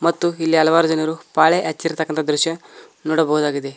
ಮತ್ತು ಇಲ್ಲಿ ಹಲವಾರು ಜನರು ಪಾಳೆ ಹಚ್ಚಿರತಕ್ಕಂತ ದೃಶ್ಯ ನೋಡಬಹುದಾಗಿದೆ.